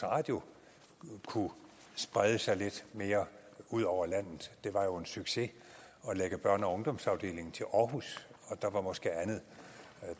radio kunne sprede sig lidt mere ud over landet det var jo en succes at lægge børne og ungdomsafdelingen til aarhus og der var måske andet